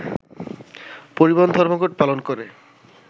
পরিবহন ধর্মঘট পালন করে